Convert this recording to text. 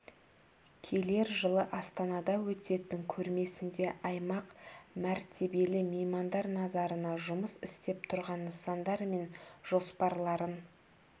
келер жылы астанада өтетін көрмесінде аймақ мәртебелі меймандар назарына жұмыс істеп тұрған нысандар мен жоспарларын